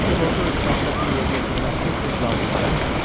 Çünki lorda öz vəzifəsini yerinə yetirmək tez-tez lazım gəlmirdi.